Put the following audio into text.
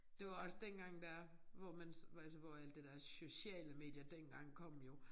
Det var også dengang der hvor man hvor altså hvor alt det der sociale medier dengang kom jo